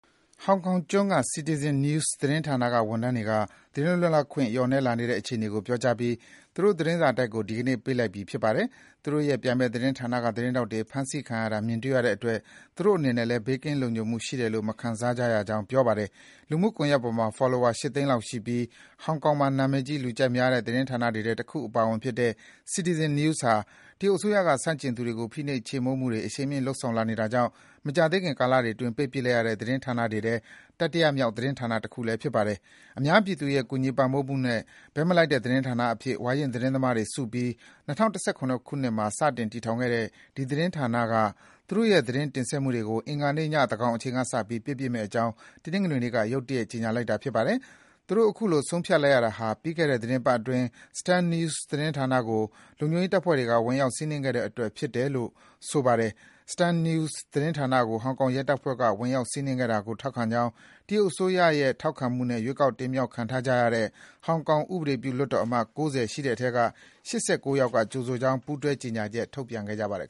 ဟောင်ကောင်ကျွန်းက CitizenNews သတင်းဌာနဝန်ထမ်းတွေက သတင်းလွတ်လပ်ခွင့် လျော့နည်းလာတဲ့အခြေအနေကို ပြောကြားပြီး သူတို့ သတင်းစာတိုက်ကို ဒီကနေ့ ပိတ်လိုက်ပြီ ဖြစ်ပါတယ်။ သူတို့ရဲ့ပြိုင်ဘက်သတင်းဌာနက သတင်းထောက်တွေ ဖမ်းဆီးခံရတာ မြင်တွေ့ရတဲ့အတွက် သူတို့အနေနဲ့လည်း ဘေးကင်း လုံခြုံမှုရှိတယ်လို့ မခံစားရကြောင်း ပြောပါတယ်။ လူမှုကွန်ယက်ပေါ်မှာ Follower ၈ သိန်းလောက်ရှိပြီး ဟောင်ကောင်မှာ နံမည်ကြီး လူကြိုက်များတဲ့ သတင်းဌာနတွေထဲ တခုအပါအဝင်ဖြစ်တဲ့ CitizenNews ဟာ တရုတ်အစိုးရက ဆန့်ကျင်သူတွေကို ဖိနှိပ် ချေမှုန်းမှုတွေ အရှိန်မြှင့်လုပ်ဆောင်လာနေတာကြောင့် မကြာသေးခင် ကာလတွေအတွင်း ပိတ်ပစ်လိုက်ရတဲ့ သတင်းဌာနတွေထဲ တတိယမြောက် သတင်းဌာနဖြစ်ပါတယ်။ အများပြည်သူရဲ့ ကူညီပံ့ပိုးမှုနဲ့ ဘက်မလိုက်တဲ့ သတင်းဌာနအဖြစ် ဝါရင့်သတင်းသမားတွေစုပြီး ၂၀၁၇ မှာ စတင် တည်ထောင်ခဲ့တဲ့ ဒီသတင်းဌာနက သူတို့ရဲ့ သတင်းတင်ဆက် မှုတွေကို အင်္ဂါနေ့ည သန်းခေါင်အချိန်ကစပြီး ပိတ်ပစ်မယ့်အကြောင်း တနင်္ဂနွေနေ့က ရုတ်တရက် ကြေညာလိုက်တာပါ။ သူတို့ အခုလို ဆုံးဖြတ်လိုက်ရတာဟာ ပြီးခဲ့တဲ့ သီတင်းပတ်အတွင်း Stand News သတင်းဌာနကို လုံခြုံရေးတပ်ဖွဲ့တွေက ဝင်ရောက် စီးနင်းခဲ့တဲ့အတွက် ဖြစ်တယ်ဆိုတာကို ဆိုပါတယ်။ Stand News သတင်းဌာနကို ဟောင်ကောင်ရဲတပ်ဖွဲ့က ဝင်ရောက်စီးနင်းခဲ့တာကို ထောက်ခံကြောင်း တရုတ်အစိုးရရဲ့ ထောက်ခံမှုနဲ့ ရွေးကောက် တင်မြှောက်ခံထားကြတဲ့ ဟောင်ကောင် ဥပဒေပြုလွှတ်တော်အမတ် ၉၀ ရှိတဲ့အထဲက ၈၉ ယောက်က ကြိုဆိုကြောင်း ပူးတွဲ ကြေညာချက် ထုတ်ပြန်ခဲ့ပါတယ်